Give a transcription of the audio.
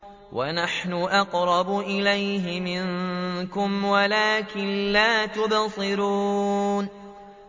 وَنَحْنُ أَقْرَبُ إِلَيْهِ مِنكُمْ وَلَٰكِن لَّا تُبْصِرُونَ